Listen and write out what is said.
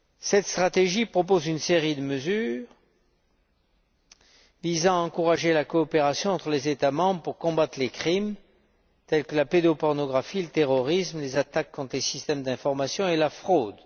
Cette stratégie propose une série de mesures visant à encourager la coopération entre les États membres pour combattre les crimes tels que la pédopornographie, le terrorisme, les attaques contre les systèmes d'information et la fraude.